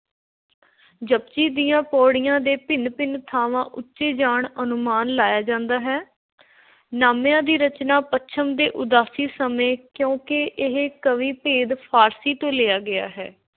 ‘ਜਪੁਜੀ’ ਦੀਆਂ ਪਉੜੀਆਂ ਦੇ ਭਿੰਨ – ਭਿੰਨ ਥਾਂਵਾਂ ਉੱਚੇ ਜਾਣ ਅਨੁਮਾਨ ਲਾਇਆ ਜਾਂਦਾ ਹੈ। ਨਾਮਿਆਂ ਦੀ ਰਚਨਾ ਪੱਛਮ ਦੀ ਉਦਾਸੀ ਸਮੇਂ, ਕਿਉਂਕਿ ਇਹ ਕਾਵਿ – ਭੇਦ ਫ਼ਾਰਸੀ ਤੋਂ ਲਿਆ ਗਿਆ ਹੈ।